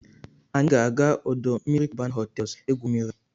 Anyị ga-aga ọdọ mmiri Cubana hotels egwu mmiri.